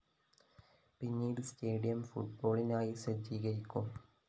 പിന്നീട് സ്റ്റേഡിയം ഫുട്ബോളിനായി സജ്ജീകരിക്കും